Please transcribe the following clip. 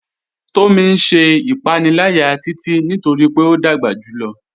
Tomí n ṣẹ̀ ìpànìlàyà Títití nítorí pé o dágbà júlọ̀.